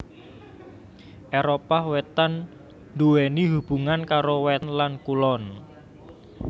Éropah Wétan nduwèni hubungan karo wétan lan kulon